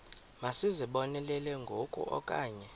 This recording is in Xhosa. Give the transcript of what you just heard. masizibonelele ngoku okanye